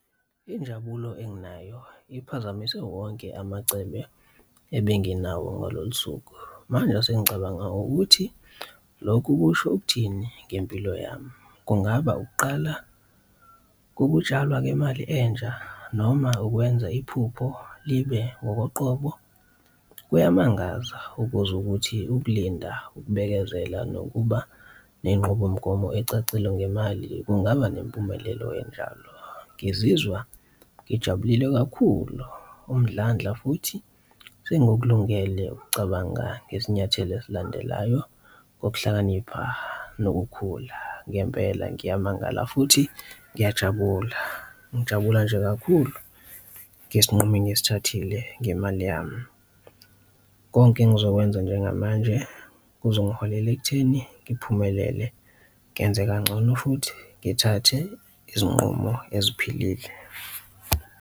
Injabulo engenayo iphazamise wonke amacebe ebenginayo ngalolu suku. Manje sengicabanga ukuthi lokhu kusho ukuthini ngempilo yami? Kungaba ukuqala kokutshalwa kwemali entsha? Noma ukwenza iphupho libe ngokoqobo? Kuyamangaza ukuzwa ukuthi ukulinda ukubekezela nokuba ney'nqubomgomo ecacile ngemali kungaba nempumelelo enjalo. Ngizizwa ngijabulile kakhulu umdlandla futhi sengikulungele ukucabanga ngesinyathelo esilandelayo, ngokuhlakanipha nokukhula. Ngempela ngiyamangala futhi ngiyajabula, ngijabula nje kakhulu ngesinqumo engisithathile ngemali yami. Konke engizokwenza njengamanje kuzongiholela ekutheni ngiphumelele, nginze kancono futhi ngithathe izinqumo eziphilile.